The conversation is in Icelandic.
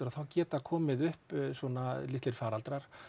þá geta komið upp svona litlir faraldrar